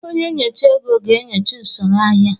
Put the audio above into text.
Onye nyocha ego ga-enyocha usoro ahịa.